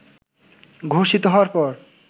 ঘোষিত হওয়ার পর